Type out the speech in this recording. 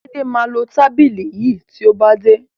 Laide má lọ tábìlì yí tíó bá dé.